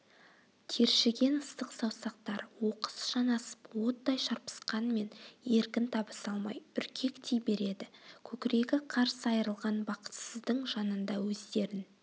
тершіген ыстық саусақтар оқыс жанасып оттай шарпысқанмен еркін табыса алмай үркектей береді көкірегі қарс айрылған бақытсыздың жанында өздерін